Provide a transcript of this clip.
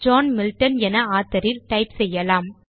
John Milton என author இல் type செய்யலாம்